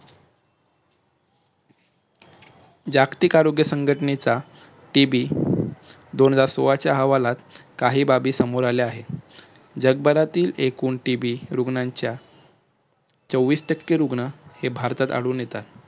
जागतिक आरोग्य संघटनेचा TB दोन हजार सोळाव्या अहवालात काही बाबी समोर आल्या आहेत. जगभरातील एकूण TB रुग्णांच्या चोवीस टक्के रुग्ण हे भारतात आढळून येतात.